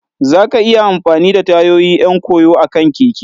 za ka iya amfani da tayoyi 'yan koyo akan keke.